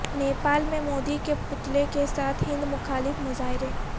نیپال میں مودی کے پتلے کے ساتھ ہند مخالف مظاہرے